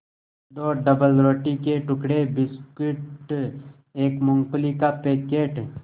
दो डबलरोटी के टुकड़े बिस्कुट एक मूँगफली का पैकेट